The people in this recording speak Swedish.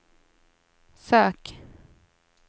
sök